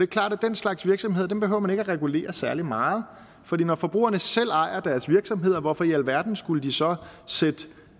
klart at den slags virksomhed behøver man ikke at regulere særlig meget for når forbrugerne selv ejer deres virksomheder hvorfor i alverden skulle de så sætte